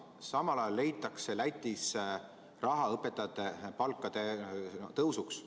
Samal ajal leitakse Lätis raha õpetajate palkade tõusuks.